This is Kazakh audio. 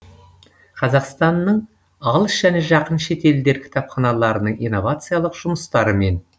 қазақстанның алыс және жақын шетелдер кітапханаларының инновациялық жұмыстарымен